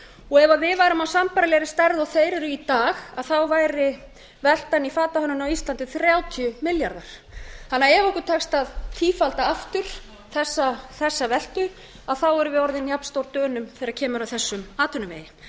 og ef við værum af sambærilegri stærð og þeir og þeir eru í dag væri veltan í fatahönnun á íslandi þrjátíu milljarðar ef okkur tekst því að tífalda aftur þessa veltu erum við orðin jafnstór dönum þegar kemur að þessum atvinnuvegi